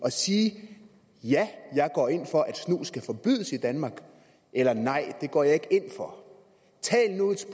at sige ja jeg går ind for at snus skal forbydes i danmark eller nej det går jeg ikke ind for tal nu et